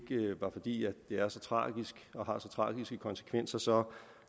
var fordi det er så tragisk og har så tragiske konsekvenser